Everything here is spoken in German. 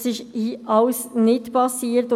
Das ist alles nicht geschehen.